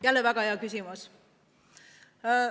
Jälle väga hea küsimus!